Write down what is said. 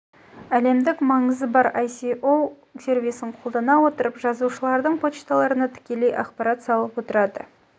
әлемдік маңызы бар аіо газеті асеоо іа аісе сервисін қолдана отырып жазылушыларының почталарына тікелей ақпарат салып отырады